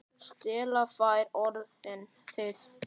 Stella fær orðið.